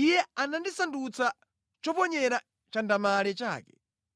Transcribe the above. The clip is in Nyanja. Iye anandisandutsa choponyera chandamale chake;